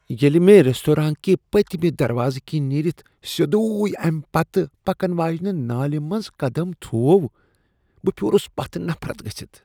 ییٚلہ مےٚ ریستوران کہ پٔتۍمہ دروازٕ کنۍ نیرتھ سیوٚدُے امہ پتہٕ پکن واجنہ نالہ منٛز قدم تھوو، بہ پھیورس پتھ نفرت گژھتھ۔